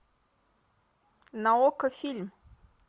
на окко фильм